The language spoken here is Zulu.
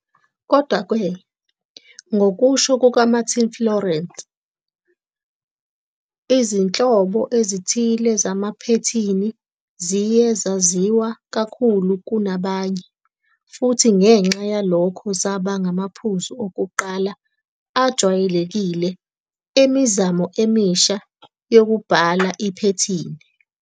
Kodwa-ke, ngokusho kukaMartin Fowler, izinhlobo ezithile zamaphethini ziye zaziwa kakhulu kunabanye, futhi ngenxa yalokho zaba ngamaphuzu okuqala ajwayelekile emizamo emisha yokubhala iphethini.